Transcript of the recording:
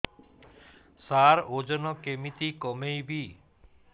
ସାର ଓଜନ କେମିତି କମେଇବି